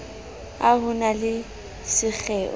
a ho na le sekgeo